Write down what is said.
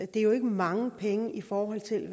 det er jo ikke mange penge i forhold til